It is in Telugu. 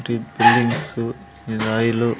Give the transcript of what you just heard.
మిల్స్ ఇది ఆయిల్ లు.